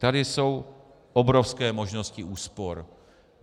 Tady jsou obrovské možnosti úspor.